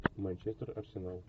манчестер арсенал